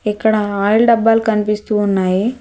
ఇక్కడ ఆయిల్ డబ్బాలు కనిపిస్తూ ఉన్నాయి.